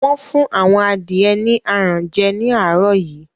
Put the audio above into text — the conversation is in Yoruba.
Wọ́n fún àwọn adìẹ ni aràn jẹ ní àárọ̀ yìí